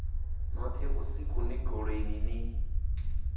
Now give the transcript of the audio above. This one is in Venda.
noṱhe vhusiku ni goloini ni